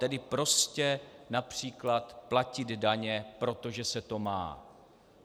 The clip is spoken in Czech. Tedy prostě například platit daně, protože se to má.